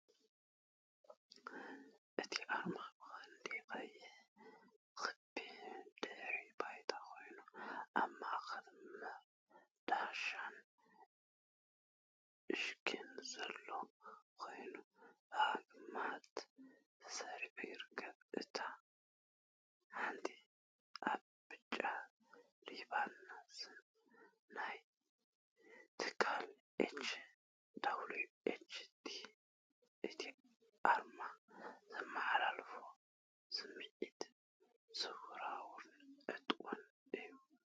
እቲ ኣርማ ብቐንዱ ቀይሕ ክቢ ድሕረ ባይታ ኮይኑ፡ ኣብ ማእከል መዶሻን ሽግን ዘለዎ ኮይኑ፡ ብኣግማድ ተሰሪዑ ይርከብ። ኣብ ታሕቲ፡ ኣብ ብጫ ሪባን፡ ስም ናይቲ ትካል "H.W.H.T." እቲ ኣርማ ዘመሓላልፎ ስምዒት ሰውራውን ዕጡቕን እዩ።